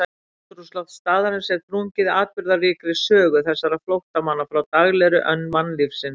Andrúmsloft staðarins er þrungið atburðaríkri sögu þessara flóttamanna frá daglegri önn mannlífsins.